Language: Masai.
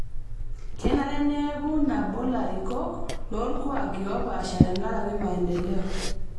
Kenare neeku nabo larikok loolkuaaki oopasha tenkaraki maendeleo